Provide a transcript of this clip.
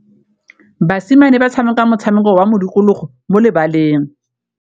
Basimane ba tshameka motshameko wa modikologô mo lebaleng.